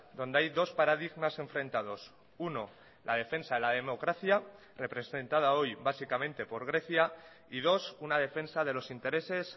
donde hay dos paradigmas enfrentados uno la defensa de la democracia representada hoy básicamente por grecia y dos una defensa de los intereses